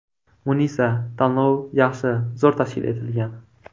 Munisa: Tanlov yaxshi, zo‘r tashkil etilgan.